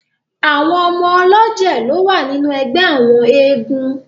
Àwọn ọmọ ọlọ́jẹ̀ lo wà nínú ẹgbẹ àwọn eégún.